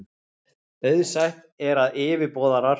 Auðsætt er, að yfirboðarar